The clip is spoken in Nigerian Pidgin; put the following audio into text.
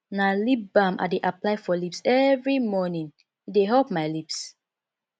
na lip balm i dey apply for lips every morning e dey help my lips